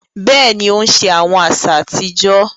Béèni, o n ṣe awọn aṣa atijọ